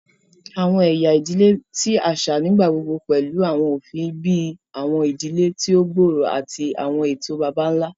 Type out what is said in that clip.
Awọn ẹya idile ti aṣa nigbagbogbo pẹlu awọn ofin bii awọn idile ti o gbooro ati awọn eto baba-nla.